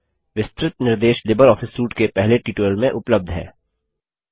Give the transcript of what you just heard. विस्तृत निर्देश LibreOffice suite के पहले ट्यूटोरियल में उपलब्ध हैं